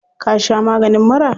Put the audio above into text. Ka sha maganin mura?